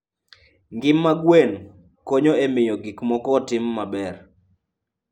Ngima mar gwen konyo e miyo gik moko otim maber.